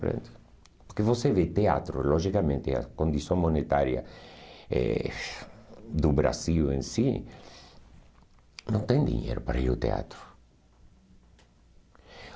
Porque você vê teatro, logicamente, a condição monetária eh do Brasil em si, não tem dinheiro para ir ao teatro.